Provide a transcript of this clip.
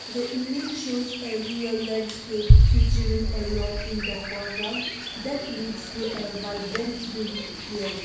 the image shows a rural landscape featuring a lot in the forground that leads to a vibrant field.